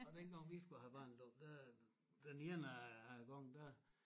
Og dengang vi skulle have barnedåb der den ene af gang der